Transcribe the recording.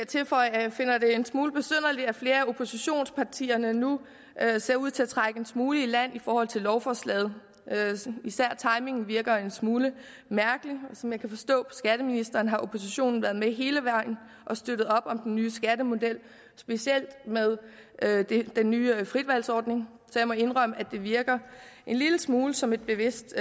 tilføje at jeg finder det en smule besynderligt at flere af oppositionspartierne nu ser ud til at trække en smule i land i forhold til lovforslaget især timingen virker en smule mærkelig som jeg kan forstå på skatteministeren har oppositionen været med hele vejen og støttet op om den nye skattemodel specielt med den nye fritvalgsordning så jeg må indrømme at det virker en lille smule som et bevidst